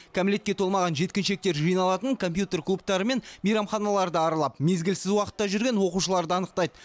кәмелетке толмаған жеткіншектер жиналатын компьютер клубтары мен мейрамханаларды аралап мезгілсіз уақытта жүрген оқушыларды анықтайды